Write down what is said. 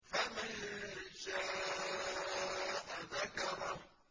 فَمَن شَاءَ ذَكَرَهُ